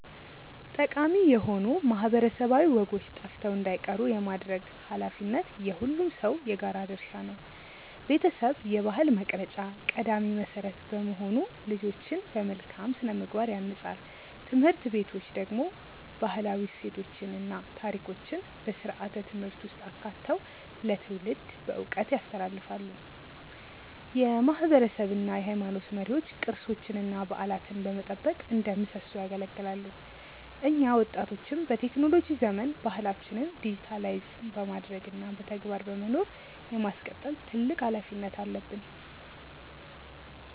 ጠቃሚ የሆኑ ማህበረሰባዊ ወጎች ጠፍተው እንዳይቀሩ የማድረግ ኃላፊነት የሁሉም ሰው የጋራ ድርሻ ነው። ቤተሰብ የባህል መቅረጫ ቀዳሚ መሰረት በመሆኑ ልጆችን በመልካም ስነ-ምግባር ያንጻል። ትምህርት ቤቶች ደግሞ ባህላዊ እሴቶችን እና ታሪኮችን በስርዓተ-ትምህርት ውስጥ አካተው ለትውልድ በዕውቀት ያስተላልፋሉ። የማህበረሰብ እና የሃይማኖት መሪዎች ቅርሶችንና በዓላትን በመጠበቅ እንደ ምሰሶ ያገለግላሉ። እኛ ወጣቶችም በቴክኖሎጂ ዘመን ባህላችንን ዲጂታይዝ በማድረግ እና በተግባር በመኖር የማስቀጠል ትልቅ ኃላፊነት አለብን።